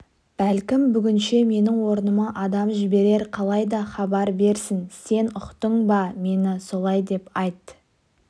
бәлкім бүгінше менің орныма адам жіберер қалайда хабар берсін сен ұқтың ба мені солай деп айт